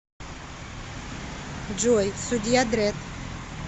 джой судья дрэдд